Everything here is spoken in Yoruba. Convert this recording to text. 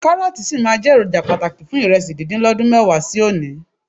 Kárọ́ọ̀tì sì máa jẹ́ èròjà pàtàkì fún ìrẹsì díndín lọ́dún mẹ́wàá sí òní.